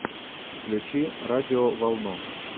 включи радиоволну